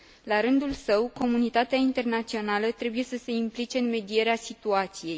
La rândul său, comunitatea internațională trebuie să se implice în medierea situației.